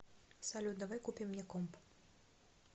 салют давай купим мне комп